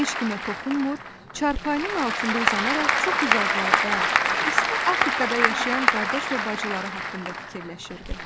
Heç kimə toxunmur, çarpayının altında uzanaraq çox uzaqlarda, isti Afrikada yaşayan qardaş və bacıları haqqında fikirləşirdi.